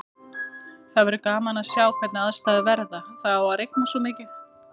Það verður gaman að sjá hvernig aðstæður verða, það á að rigna svo mikið.